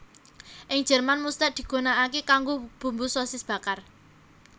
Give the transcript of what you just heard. Ing Jerman muster digunakake kanggo bumbu sosis bakar